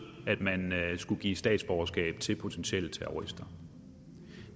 at man skulle give statsborgerskab til potentielle terrorister